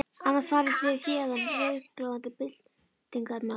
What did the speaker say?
Annars farið þér héðan rauðglóandi byltingarmaður.